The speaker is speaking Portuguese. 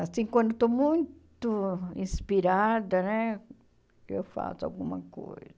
Assim, quando eu estou muito inspirada né, eu faço alguma coisa.